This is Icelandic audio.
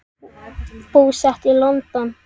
Búsett í London.